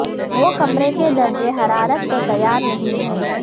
وہ کمرے کے درجہ حرارت کو تیار نہیں ہے